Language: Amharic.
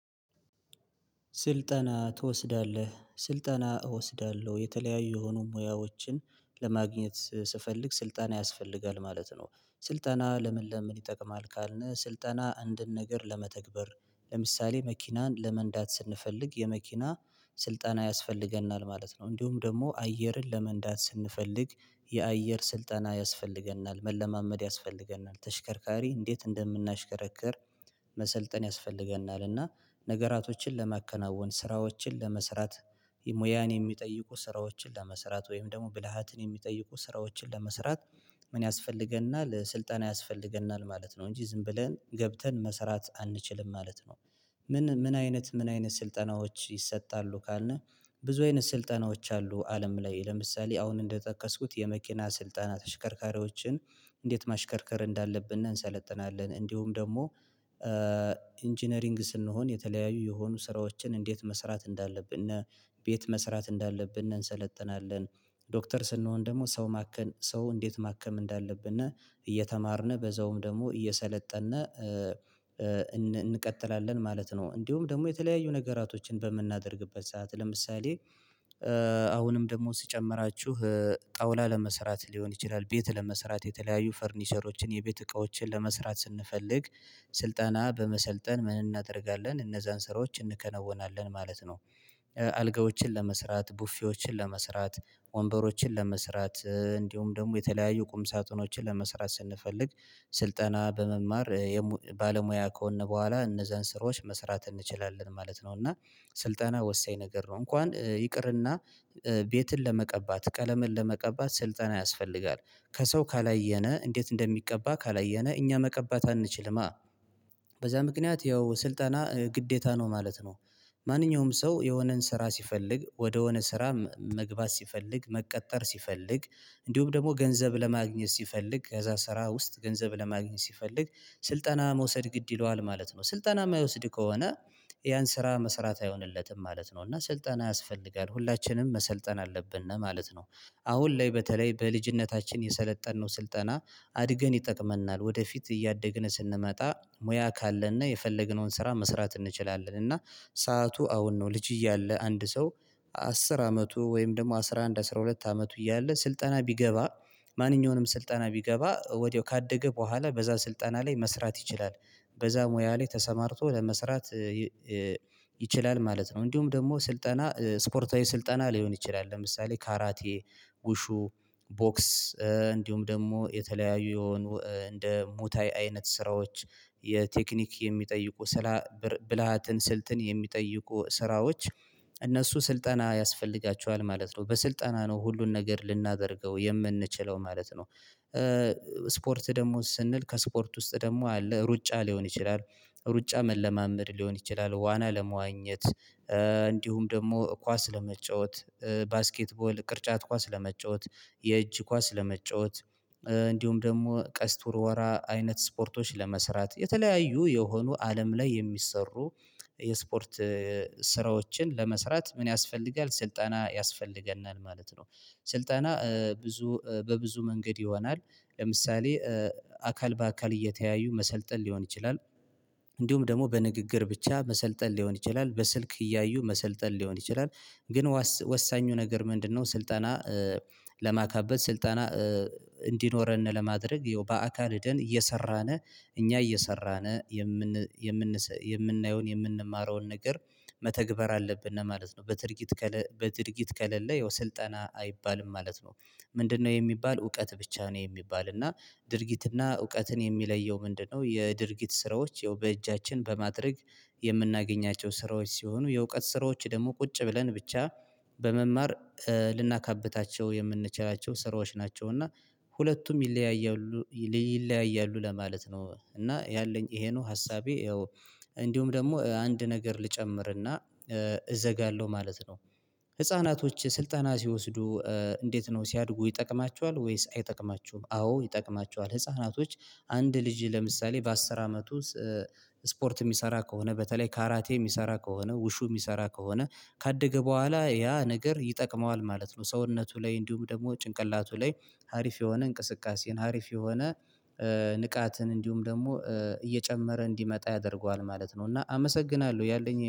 ስልጠና ትወስዳለህ ስልጠና እወስዳለሁ የተለያዩ የሆኑ ሙያዎችን ለማግኘት ስፈልግ ስልጠና ያስፈልጋል ማለት ነው። ስልጠና ለምን ለምን ይጠቅማል? ካልነ ስልጠና አንድን ነገር ለመተግበር ለምሳሌ መኪናን ለመንዳት ስንፈልግ የመኪና ስልጠና ያስፈልገናል ማለት ነው። እንዲሁም ደግሞ አየርን ለመንዳት ስንፈልግ የአየር ስልጠና ያስፈልገናል መለማመድ ያስፈልገናል ተሽከርካሪ እንዴት እንደምናሽከረክር መሰልጠን ያስፈልገናል። እና ነገራቶችን ለማከናወን ስራዎችን ለመስራት ሙያን የሚጠይቁ ስራዎችን ለመስራት ወይም ደግሞ ብልሃትን የሚጠይቁ ስራዎችን ለመስራት ምን ያስፈልገናል ስልጠና ያስፈልገናል ማለት ነው እንጂ ዝም ብለን ገብተን መስራት አንችልም ማለት ነው። ምን ምን አይነት ምን አይነት ስልጠናዎች ይሰጣሉ ካልነ? ብዙ አይነት ስልጠናዎች አሉ አለም ላይ ለምሳሌ አሁን እንደጠቀስኩት የመኪና ስልጠና ተሽከርካሪዎችን እንዴት ማሽከርከር እንዳለብን እንሰለጥናለን። እንዲሁም ደግሞ ኢንጂነሪንግ ስንሆን የተለያዩ የሆኑ ስራዎችን እንዴት መስራት እንዳለብን ቤት መስራት እንዳለብን እንሰለጥናለን። ዶክተር ስንሆን ደግሞ ሰው ማከም ሰው እንዴት ማከም እንዳለብን እና እየተማርን በዛውም ደግሞ እየሰለጠንን እንቀጥላለን ማለት ነው። እንዲሁም ደግሞ የተለያዩ ነገራቶችን በምናደርግበት ሰዓት ለምሳሌ አሁንም ደግሞ ስጨምራችሁ ጣውላ ለመስራት ሊሆን ይችላል ቤት ለመስራት የተለያዩ ፈርኒሸሮችን የቤት እቃዎችን ለመስራት ስንፈልግ ስልጠና በመሰልጠን ምን እናደርጋለን እነዛን ስራዎች እናከናውናለን ማለት ነው። አልጋዎችን ለመስራት ቡፌዎችን ለመስራት ወንበሮችን ለመስራት እንዲሁም ደግሞ የተለያዩ ቁም ሳጥኖችን ለመስራት ስንፈልግ ስልጠና በመማር ባለሙያ ከሆንን በኋላ እነዛን ስራወች መስራት እንችላለን ማለት ነው። እና ስልጠና ወሳኝ ነገር ነው እንኳን ይቅርና ቤትን ለመቀባት ቀለምን ለመቀባት ስልጠና ያስፈልጋል። ከሰው ካላየነ እንዴት እንደሚቀባ ካላየነ እኛ መቀባት አንችልም። በዛ ምክንያት ያው ስልጠና ግዴታ ነው ማለት ነው። ማንኛውም ሰው የሆነን ስራ ሲፈልግ ወደሆነ ስራ መግባት ሲፈልግ መቀጠር ሲፈልግ እንዲሁም ደግሞ ገንዘብ ለማግኘት ሲፈልግ ከዛ ስራ ውስጥ ገንዘብ ለማግኘት ሲፈልግ ስልጠና መውሰድ ግድ ይለዋል ማለት ነው። ስልጠና የማይወስድ ከሆነ ያን ስራ መስራት አይሆንለትም ማለት ነው። እና ስልጠና ያስፈልጋል ሁላችንም መሰልጠን አለብን ነው ማለት ነው። አሁን ላይ በተለይ በልጅነታችን የሰለጠነው ስልጠና አድገን ይጠቅመናል ወደፊት እያደግን ስንመጣ ሙያ ካለነ የፈለግነውን ስራ መስራት እንችላለን። እና ሰዓቱ አሁን ነው ልጅ እያለ አንድ ሰው አስር አመቱ ወይም ደግሞ አስራ አንድ አስራ ሁለት አመቱ እያለ ስልጠና ቢገባ ማንኛውንም ስልጠና ቢገባ ወዲያው ካደገ በኋላ በዛ ስልጠና ላይ መስራት ይችላል። በዛ ሙያ ላይ ተሰማርቶ ለመስራት ይችላል ማለት ነው። እንዲሁም ደግሞ ስልጠና ስፖርታዊ ስልጠና ሊሆን ይችላል ለምሳሌ ካራቴ ውሹ ቦክስ እንዲሁም ደግሞ የተለያዩ የሆኑ እንደ ሙታይ አይነት ስራዎች የቴክኒክ የሚጠይቁ ስራ ብልሃትን ስልትን የሚጠይቁ ስራዎች እነሱ ስልጠና ያስፈልጋቸዋል ማለት ነው። በስልጠና ነው ሁሉን ነገር ልናደርገው የምንችለው ማለት ነው። ስፖርት ደግሞ ስንል ከስፖርት ውስጥ ደግሞ አለ ሩጫ ሊሆን ይችላል ሩጫ መለማመድ ሊሆን ይችላል። ዋና ለመዋኘት እንዲሁም ደግሞ ኳስ ለመጫወት ባስኬትቦል ቅርጫት ኳስ ለመጫወት የእጅ ኳስ ለመጫወት እንዲሁም ደግሞ ቀስት ወርወራ አይነት ስፖርቶች ለመስራት የተለያዩ የሆኑ አለም ላይ የሚሰሩ የስፖርት ስራዎችን ለመስራት ምን ያስፈልጋል ስልጠና ያስፈልገናል ማለት ነው። ስልጠና ብዙ በብዙ መንገድ ይሆናል። ለምሳሌ አካል በአካል እየተያዩ መሰልጠን ሊሆን ይችላል። እንዲሁም ደግሞ በንግግር ብቻ መሰልጠን ሊሆን ይችላል በስልክ እያዩ መሰልጠን ሊሆን ይችላል ግን ወሳኙ ነገር ምንድነው? ስልጠና ለማካበት ስልጠና እንዲኖረን ለማድረግ በአካል ሂደን እየሰራነ እኛ እየሰራነ የምን የምን የምናየውን የምንማረውን ነገር መተግበር አለብን ማለት ነው። በድርጊት በድርጊት ከለለ ያው ስልጠና አይባልም ማለት ነው። ምንድነው የሚባል እውቀት ብቻ ነው። የሚባል እና ድርጊትና እውቀትን የሚለየው ምንድነው? የድርጊት ስራዎች ያው በእጃችን እጃችን በማድረግ የምናገኛቸው ስራዎች ሲሆኑ የእውቀት ስራዎች ደግሞ ቁጭ ብለን ብቻ በመማር ልናካብታቸው የምንችላቸው ስራዎች ናቸው። እና ሁለቱም ይለያያሉ ይለያያሉ ለማለት ነው። እና ያለኝ ይሄ ነው ሀሳቤ ያው። እንዲሁም ደግሞ አንድ ነገር ልጨምርና እዘጋለሁ ማለት ነው። ህፃናቶች ስልጠና ሲወስዱ እንዴት ነው ሲያድጉ ይጠቅማችኋል ወይስ አይጠቅማቸውም? አዎ ይጠቅማችዋል ህፃናቶች አንድ ልጂ ለምሳሌ በአስር አመቱ ስፖርት የሚሰራ ከሆነ በተለይ ካራቴ የሚሰራ ከሆነ ውሹ የሚሰራ ከሆነ ካደገ በኋላ ያ ነገር ይጠቅመዋል ማለት ነው። ሰውነቱ ላይ እንዲሁም ደግሞ ጭንቅላቱ ላይ ሀሪፍ የሆነ እንቅስቃሴን ሀሪፍ የሆነ ንቃትን እንዲሁም ደግሞ እየጨመረ እንዲመጣ ያደርገዋል ማለት ነው። እና አመሰግናለሁ ያለኝ ይሄ ነው